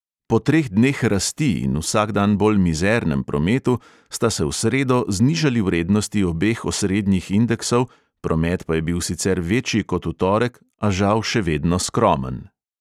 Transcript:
Po treh dneh rasti in vsak dan bolj mizernem prometu sta se v sredo znižali vrednosti obeh osrednjih indeksov, promet pa je bil sicer večji kot v torek, a žal še vedno skromen.